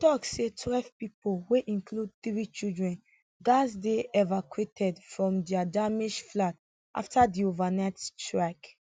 e tok say twelve pipo wey include three children gatz dey evacuated from dia damaged flats afta di overnight strike